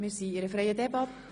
Wir führen eine freie Debatte.